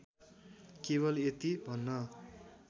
केवल यति भन्न